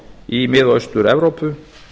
í mið og austur evrópu